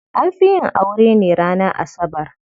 An fi yin aure ne ranar Asabar.